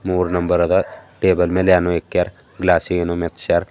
ಮೂರ್ ನಂಬರ್ ಅದ ಟೇಬಲ್ ಮೇಲೆ ಏನೋ ಇಕ್ಯಾರೆ ಕ್ಲಾಸ್ ಗೆ ಏನೋ ಮೆಚ್ಚಾರ್.